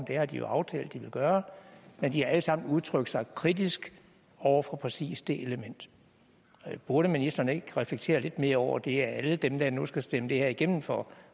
det har de jo aftalt at de vil gøre men de har alle sammen udtrykt sig kritisk over for præcis det element burde ministeren ikke reflektere lidt mere over det at alle dem der nu skal stemme det her igennem for